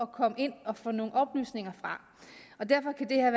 komme ind og få nogle oplysninger fra derfor kan det her